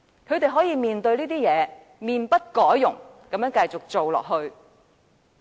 他們面對這些問題，可以面不改容，繼續做下去。